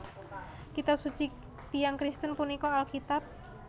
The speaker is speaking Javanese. Kitab suci tiyang Kristen punika Alkitab